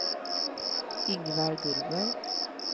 Ingvar Gullberg